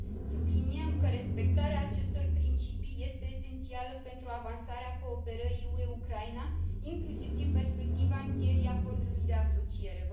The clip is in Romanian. Subliniem că respectarea acestor principii este esențială pentru avansarea cooperării UE Ucraina, inclusiv din perspectiva încheierii acordului de asociere.